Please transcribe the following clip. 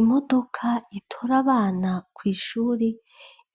Imodoka itora abana kw’ishuri